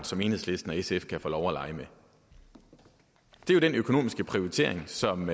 som enhedslisten og sf kan få lov at lege med det er den økonomiske prioritering som